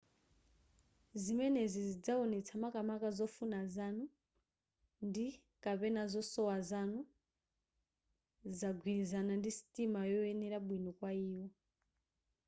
zimenezi zizawonetsa makamaka zofuna zanu ndi/kapena zosowa zanu zagwirizana ndi sitima yoyenera bwino kwa iwo